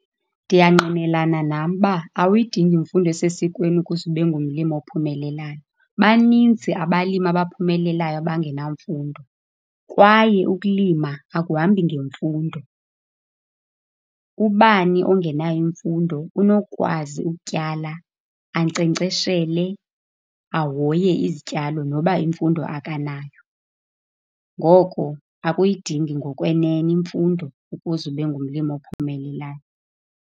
Ndiyangqinelana nam ukuba awuyidingi imfundo esesikweni ukuze ube ngumlimi ophumelelayo. Baninzi abalimi abaphumelelayo abangenamfundo kwaye ukulima akuhambi ngemfundo. Ubani ongenayo imfundo unokwazi ukutyala, ankcenkceshele, ahoye izityalo noba imfundo akanayo. Ngoko akuyidingi ngokwenene imfundo ukuze ube ngumlimi ophumelelayo.